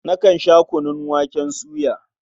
Nakan sha kunun waken soya.